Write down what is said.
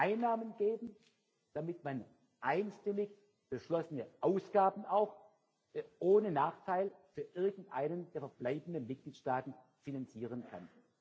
Einnahmen geben, damit man einstimmig beschlossene Ausgaben auch ohne Nachteil für irgendeinen der verbleibenden Mitgliedstaaten finanzieren kann.